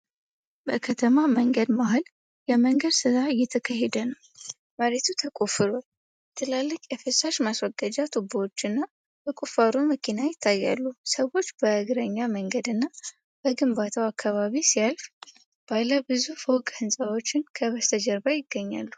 በከተማ መንገድ መሃል የመንገድ ሥራ እየተካሄደ ነው። መሬት ተቆፍሯል፤ ትላልቅ የፍሳሽ ማስወገጃ ቱቦዎችና የቁፋሮ መኪና ይታያሉ። ሰዎች በእግረኛ መንገድና በግንባታው አካባቢ ሲያልፉ፣ ባለ ብዙ ፎቅ ሕንፃዎች ከበስተጀርባ ይገኛሉ።